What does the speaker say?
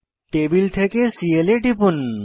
table থেকে CL এ টিপুন